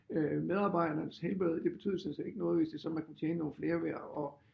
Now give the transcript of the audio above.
Øh medarbejdernes helbred det betød sådan set ikke noget hvis det sådan man kunne tjene nogle flere ved at